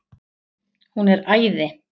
Hún er æði.